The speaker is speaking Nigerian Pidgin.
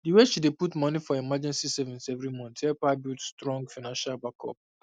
the way she dey put moni for emergency savings every month help her build strong financial backup